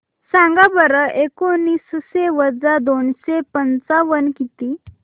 सांगा बरं एकोणीसशे वजा दोनशे पंचावन्न किती